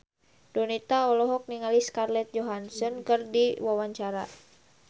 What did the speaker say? Donita olohok ningali Scarlett Johansson keur diwawancara